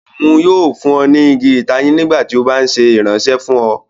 Òun yóò fún ọ ni igi itayin nígbàtí o ba nṣe iranṣẹ fun ọ